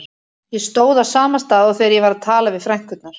Ég stóð á sama stað og þegar ég var að tala við frænkurnar.